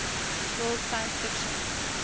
world science fiction